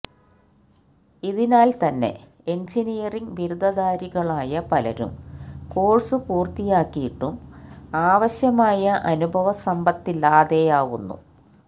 ഇതിനാല് തന്നെ എഞ്ചിനിയറിങ് ബിരുദധാരികളായ പലരും കോഴ്സു പൂര്ത്തിയാക്കിയിട്ടും ആവാശ്യമായ അനുഭവസമ്പത്തില്ലാതെയാവുന്നു